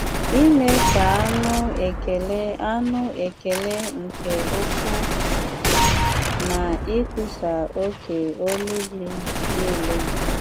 Ime ka anu ekele anu ekele nke-uku, Na ikwusa oké ọlu-Gi nile.